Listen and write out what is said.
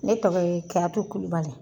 Ne tɔgɔ ye Kiyatu kulubali.